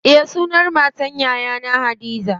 Eh sunan matar yayana hadiza.